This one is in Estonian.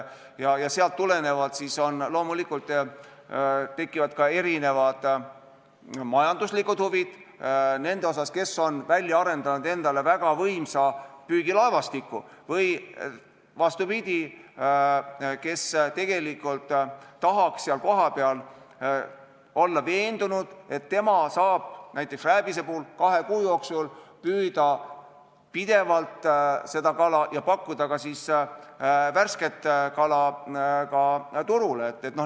Sealt tulenevalt loomulikult tekivad ka erinevad majanduslikud huvid nendel, kes on arendanud endale välja väga võimsa püügilaevastiku, ja nendel, kes vastupidi tahaks kohapeal olla veendunud, et ta saab näiteks rääbist kahe kuu jooksul püüda pidevalt ja pakkuda ka värsket kala turule.